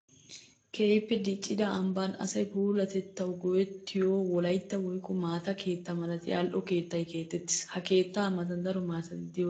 Keehippe diccidda ambban asay puulatettawu go'ettiyo wolaytta woykko maata keetta malatiya ali'o keettay keexettis. Ha keetta matan daro maatatti de'osonna.